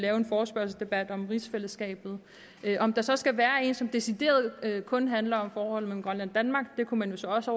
en forespørgselsdebat om rigsfællesskabet om der så skal være en debat som decideret kun handler om forholdet mellem grønland og danmark kunne man jo så også